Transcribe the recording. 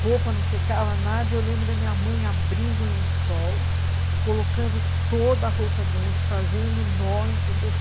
Roupa não secava nada e eu lembro da minha mãe abrindo o lençol, colocando toda a roupa dentro, fazendo nó, entendeu?